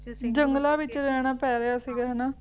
ਜੰਗਲਾਂ ਵਿੱਚ ਜਾਣਾ ਪੈ ਰਿਹਾ ਸੀ ਹੈ ਨਾ